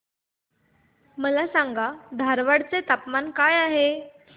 मला सांगा धारवाड चे तापमान काय आहे